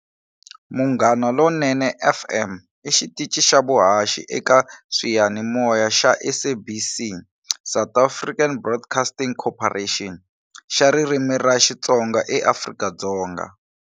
Munghana Lonene FM i xitichi xa vuhaxi eka swiyanimoya xa SABC, South African Broadcasting Cooperation, xa ririmi ra Xitsonga eAfrika-Dzonga.